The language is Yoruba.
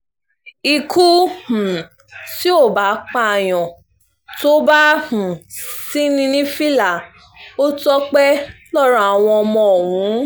ikú um tí ó bá pààyàn tó bá um sì ní ní fìlà ò tọpẹ́ lọ́rọ̀ àwọn ọmọ ọ̀hún